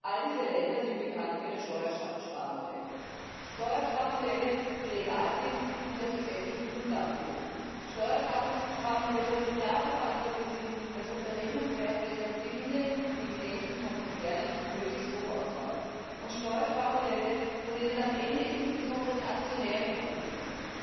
Alle diese Länder sind bekannt für ihre Steuersparmodelle Steuersparmodelle, die legal sind und die auf gesetzlichen Grundlagen beruhen, Steuersparmodelle, die dafür verantwortlich sind, dass Unternehmenswerte, Gewinne und Dividenden von Konzernen möglichst hoch ausfallen, und Steuersparmodelle, von denen am Ende insbesondere die Aktionäre profitieren.